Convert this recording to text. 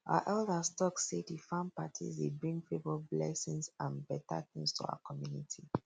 our elders talk say di farm parties dey bring favour blessings and better things to our community